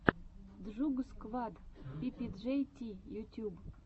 джугсквад пи пи джей ти ютьюб